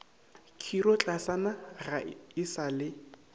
khirotlasana ga e sa le